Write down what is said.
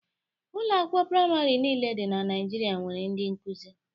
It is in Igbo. Ụlọ akwụkwọ praịmarị niile dị na Naịjirịa nwere ndị nkuzi.